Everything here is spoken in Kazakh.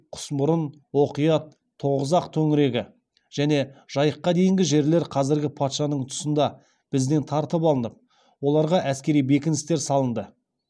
құсмұрын оқият тоғызақ төңірегі және жайыққа дейінгі жерлер қазіргі патшаның тұсында бізден тартып алынып оларға әскери бекіністер салынды